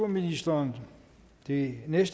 ministeren sige jeg